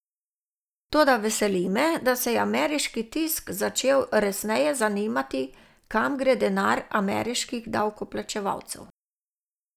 Toda veseli me, da se je ameriški tisk začel resneje zanimati, kam gre denar ameriških davkoplačevalcev.